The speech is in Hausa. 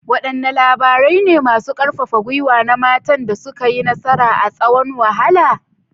Wadanne labarai ne masu karfafa gwiwa na matan da suka yi nasara a tsawon wahala?